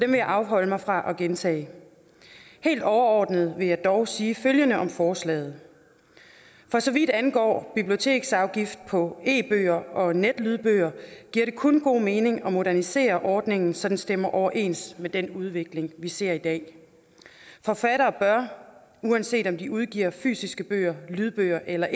vil jeg afholde mig fra at gentage helt overordnet vil jeg dog sige følgende om forslaget for så vidt angår biblioteksafgift på e bøger og netlydbøger giver det kun god mening at modernisere ordningen så den stemmer overens med den udvikling vi ser i dag forfattere bør uanset om de udgiver fysiske bøger lydbøger eller